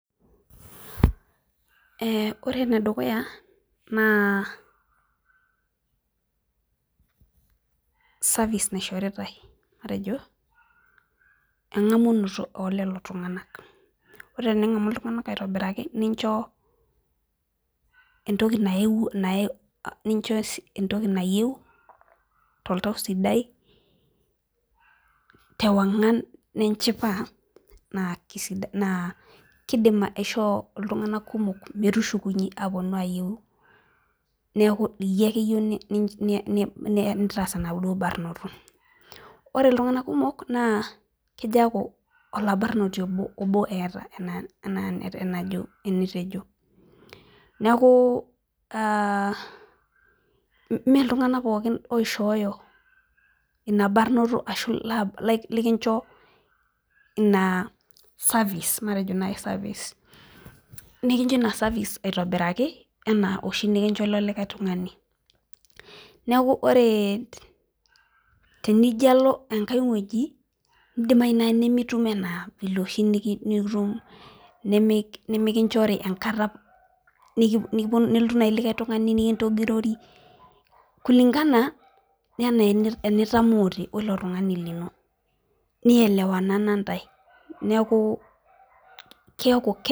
Ore enedukuya naa service naishoritai matejo engamunoroto oo lelo tunganak , ore teningamu iltunganak aitobiraki nincho entoki nayie tooltau sidai tewongan ninchipa naa keidim aishoo iltunganak kumok metushukunye aponu ayieu neeku iyie ake eyieu nintaas enaduo barnoto ore iltunganak kumok naa kejo aaku olabarnoti oboo eeta enaa enitejo neeku mee iltunganak pookin oishoyoo ina barboto ashuu likincho ina service nikinchoo ina [cs[service aitobiraki anaa enikinchoo oshi ilo tungani , neeku ore tenijo alo enkai woji neidimayu naaji nimitum enaa vile oshi nitum nimikinchori enkata nelotu naaji likae tungani nikintogirori kulingana anaa enitamoote weilo tungani lino nielewanana intae neeku keeku.